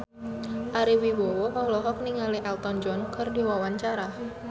Ari Wibowo olohok ningali Elton John keur diwawancara